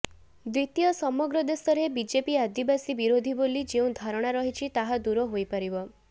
ଦ୍ୱିତୀୟ ସମଗ୍ର ଦେଶରେ ବିଜେପି ଆଦିବାସୀ ବିରୋଧୀ ବୋଲି ଯେଉଁ ଧାରଣା ରହିଛି ତାହା ଦୂର ହୋଇପାରିବ